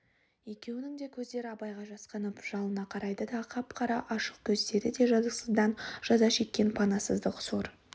екеуінің де көздері абайға жасқанып жалына қарайды қап-қара ашық көздері де жазықсыздан жаза шеккен панасыздық сор